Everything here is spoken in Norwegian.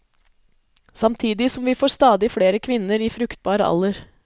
Samtidig som vi får stadig flere kvinner i fruktbar alder.